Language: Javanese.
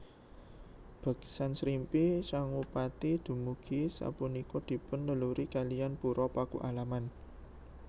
Beksan Srimpi Sangupati dumugi sapunika dipun leluri kalian Pura Pakualaman